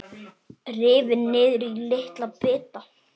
Rifin niður í litla bita.